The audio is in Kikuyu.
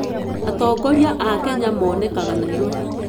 Atongoria a Kenya monekanaga Nairobi.